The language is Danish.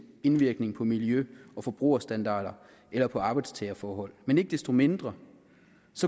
indvirkning på miljø og forbrugerstandarder eller på arbejdstagerforhold men ikke desto mindre